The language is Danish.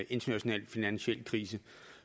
international finansiel krise